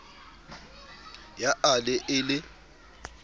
ya a le e le